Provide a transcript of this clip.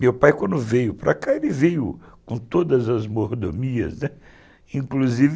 Meu pai, quando veio para cá, ele veio com todas as mordomias, né, inclusive...